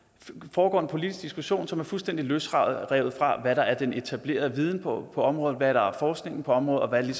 foregår en politisk diskussion som er fuldstændig løsrevet fra hvad der er den etablerede viden på området hvad der er forskningen på området og hvad der